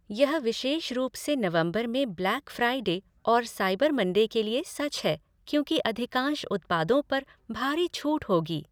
यह विशेष रूप से नवंबर में ब्लैक फ़्राइडे और साइबर मंडे के लिए सच है, क्योंकि अधिकांश उत्पादों पर भारी छूट होगी।